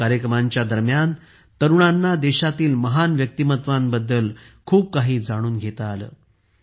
ह्या कार्यक्रमांच्या दरम्यान तरुणांना देशातील महान व्यक्तिमत्त्वांबद्दल खूप काही जाणून घेता आले